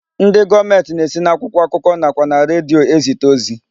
Ndị gọọmenti na-esi n'akwụkwọ akụkọ nakwa na redio e zite ozi.